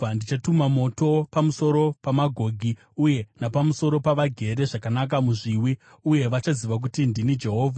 Ndichatuma moto pamusoro paMagogi uye napamusoro pavagere zvakanaka muzviwi, uye vachaziva kuti ndini Jehovha.